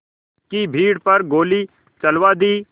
की भीड़ पर गोली चलवा दी